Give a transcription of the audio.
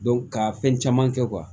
ka fɛn caman kɛ